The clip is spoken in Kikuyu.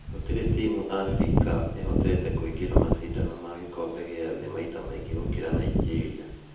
Gũtirĩ timũ Afrika ũhotete kũingĩra macindano ma gĩkombe gĩa thĩ maita maingĩ gũkĩra Nigeria.